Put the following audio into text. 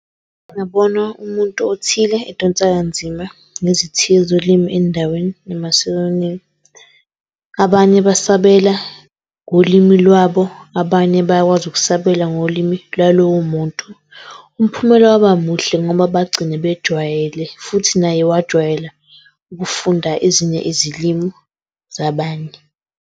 Ngibona umuntu othile edonsa kanzima nezithiyo zolimi endaweni enamasiko amaningi. Abanye besabela ngolimi lwabo, abanye bayakwazi ukusabela ngolimi lwalowo muntu. Umphumela waba muhle ngoba bagcine bejwayele futhi naye wajwayela ukufunda ezinye ezilimu zabanye.